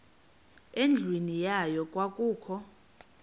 endlwini yayo kwakukho